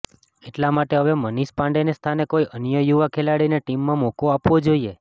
એટલા માટે હવે મનિષ પાંડેના સ્થાને કોઇ અન્ય યુવા ખેલાડીને ટીમમાં મોકો આપવો જોઇએ